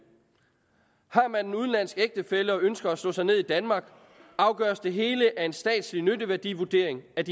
har man en udenlandsk ægtefælle og ønsker man at slå sig ned i danmark afgøres det hele af en statslig nytteværdivurdering af